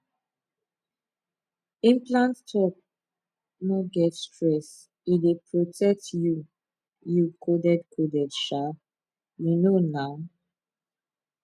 implant talk no get stress e dey protect you you coded coded um you know na um small pause